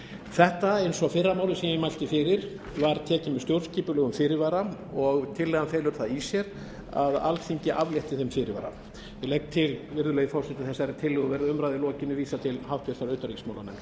þetta eins og fyrra málið sem ég mælti fyrir var tekið með stjórnskipulegum fyrirvara og tillagan felur það í sér að alþingi aflétti þeim fyrirvara ég legg til virðulegi forseti að þessum tillögum verði að umræðu lokinni vísað til háttvirtrar utanríkismálanefndar